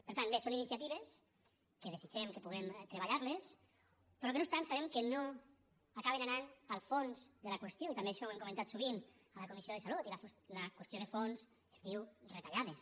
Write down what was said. per tant bé són iniciatives que desitgem que puguem treballar les però que no obstant sabem que no acaben anant al fons de la qüestió i també això ho hem comentat sovint a la comissió de salut i la qüestió de fons es diu retallades